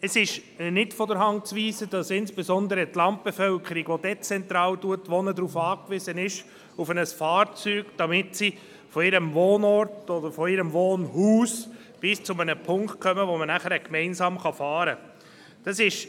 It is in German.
Es ist nicht von der Hand zu weisen, dass insbesondere die Landbevölkerung, die dezentral wohnt, auf ein Fahrzeug angewiesen ist, damit sie von ihrem Wohnort oder von ihrem Wohnhaus bis zu einem Punkt kommt, ab dem man dann gemeinsam fahren kann.